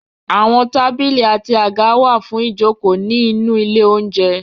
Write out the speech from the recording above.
Àwọn tábìlì àti àga wà fún ìjokòó ní inú ilé oúnjẹ.